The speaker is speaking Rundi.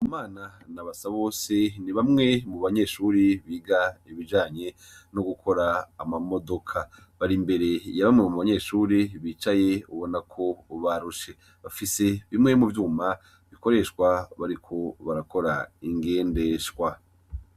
Ndikumana na Basabose ni bamwe mu banyeshuri biga ibijanye n'ugukora amamodoka, bari inverse ya bamwe mu banyeshure bicaye ubona ko barushe, bafise bimwe mu vyuma bikoreshwa bariko barakora ingendeshwa.